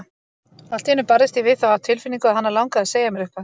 Allt í einu barðist ég við þá tilfinningu að hana langaði að segja mér eitthvað.